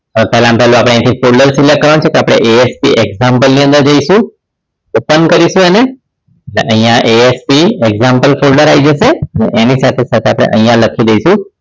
તો પહેલામાં પહેલું આપણે અહીંથી folder select કરવાનું છે તો આપણે ASP example ની અંદર જઈશું open કરીશું એને અહીંયા ASP example folder આવી જશે એની સાથે સાથે આપણે અહિયાં લખી દઈશું